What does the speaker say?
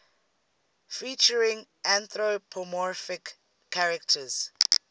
featuring anthropomorphic characters